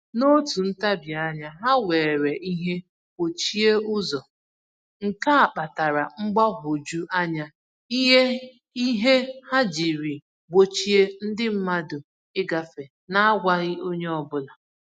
N'otu ntabianya, ha were ihe gbochie ụzọ, nke a kpatara mgbagwoju anya ihe ha jiri gbochie ndi mmadụ ịgafe na-agwaghị onye ọbụla